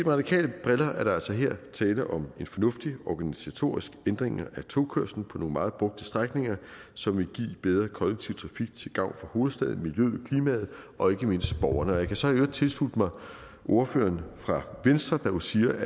radikales briller er der altså her tale om en fornuftig organisatorisk ændring af togkørslen på nogle meget brugte strækninger som vil give bedre kollektiv trafik til gavn for hovedstaden miljøet og klimaet og ikke mindst borgerne jeg kan så i øvrigt tilslutte mig ordføreren fra venstre der jo siger